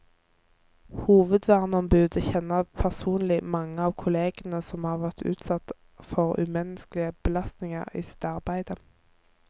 Hovedverneombudet kjenner personlig mange av kollegene som har vært utsatt for umenneskelige belastninger i sitt arbeide.